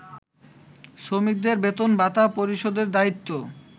শ্রমিকদের বেতনভাতা পরিশোধের দায়িত্ব